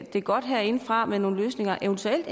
det godt herindefra med nogle løsninger eventuelt